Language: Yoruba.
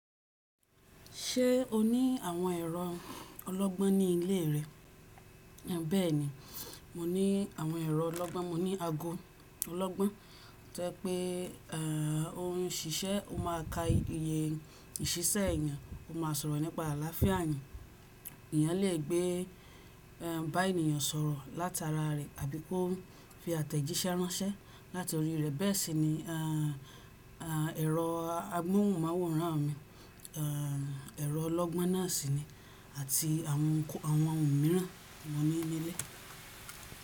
Ṣé o ní àwọn ẹ̀rọ ọlọ́gbọ́n ní ilé rẹ? Bẹ́ẹ̀ni, mo ní àwọn ẹ̀rọ ọlọ́gbọ́n, mo ní ago ọlọ́gbọ́n. To je pé òhun ṣíṣẹ́, o máa ka iye ìṣíṣẹ́ èèyàn, o máa sọ̀rọ̀ nípa àlàáfíà eeyàn. Èèyàn lè gbé bá èèyàn sọ̀rọ̀ látara rẹ̀ àbí kó fi àtẹ̀jíṣẹ́ ránṣẹ́ láti orí rẹ̀. Bẹ́ẹ̀ sì ni ẹ̀rọ amóhùnmáwòrán mi, ẹ̀rọ ọlọ́gbọ́n náà sì ni àti àwọn ohun mìíràn mo ní ní ilé.